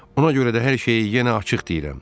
Ona görə də hər şeyi yenə açıq deyirəm.